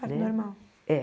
Parto normal. É